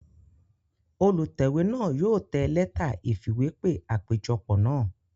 Olùtẹ̀wé náà yóò tẹ lẹ́tà ìfìwépè àpéjọpọ̀ náà